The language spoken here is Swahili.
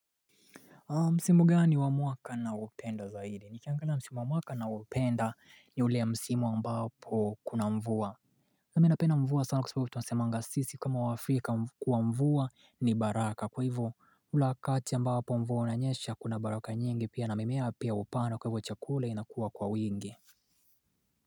Msimu gani wamuaka na upenda zaidi? Nikiangana msimu wamuaka na upenda ni ule msimu ambapo kuna mvua na minapenda mvua sana kusababu tunasemanga sisi kama waafrika kuwa mvua ni baraka kwa hivyo ulakati ambapo mvua unanyesha kuna baraka nyingi pia na mimea pia upana kwa hivyo chakula inakuwa kwa wingi.